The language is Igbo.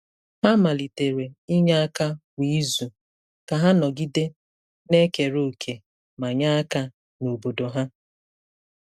Ha malitere inye aka kwa izu ka ha nọgide na-ekere òkè ma nye aka n'obodo ha.